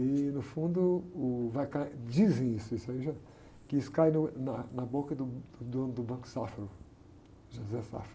E, no fundo, uh vai cair, dizem isso, isso aí já, que isso cai no, na, na boca do, do dono do Banco Safra, o José Safra.